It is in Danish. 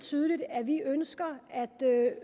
tydeligt at vi ønsker